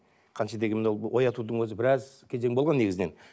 қанша дегенмен мынау оятудың өзі біраз кезең болған негізінен